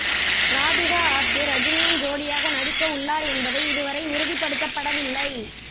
ராதிகா ஆப்தே ரஜினியின் ஜோடியாக நடிக்க உள்ளார் என்பதை இதுவரை உறுதிப்படுத்தப்ட வில்லை